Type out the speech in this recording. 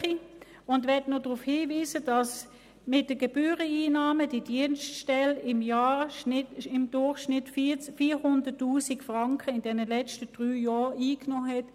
Ich möchte auch noch darauf hinweisen, dass mit der Gebühreneinnahme diese Dienststelle im Durchschnitt in den letzten drei Jahren 400 000 Franken eingenommen wurden.